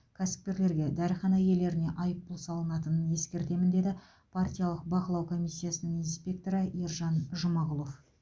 кәсіпкерлерге дәріхана иелеріне айыппұл салынатынын ескертемін деді партиялық бақылау комиссиясының инспекторы ержан жұмағұлов